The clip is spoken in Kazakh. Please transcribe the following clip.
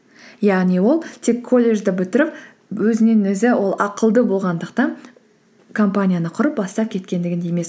яғни ол тек колледжді бітіріп өзінен өзі ол ақылды болғандықтан компанияны құрып бастап кеткендігінде емес